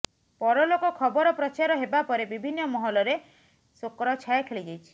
ପରଲୋକ ଖବର ପ୍ରଚାର ହେବାପରେ ବିଭିନ୍ନ ମହଲରେ ଶୋକର ଛାୟା ଖେଳି ଯାଇଛି